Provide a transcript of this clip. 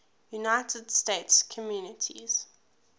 united states communities